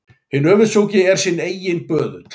Hinn öfundsjúki er sinn eiginn böðull.